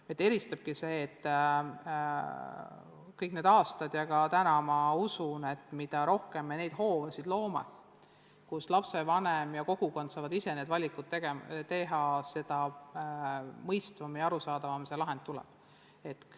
Meid eristabki see, et kõik need aastad ma olen uskunud ja ka täna usun, et mida rohkem me loome hoobasid, mille korral lapsevanem ja kogukond saavad ise eesti keele kasuks valikuid teha, seda mõistvam ja arusaadavam see protsess on.